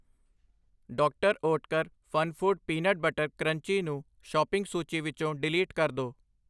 ਡਾ. Oetker Funfoods peanut butter crunchy ਨੂੰ shopping ਸੂਚੀ ਵਿੱਚੋ ਡਿਲੀਟ ਕਰ ਦੋ I